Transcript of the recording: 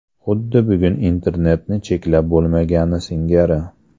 Xuddi bugun internetni cheklab bo‘lmagani singari.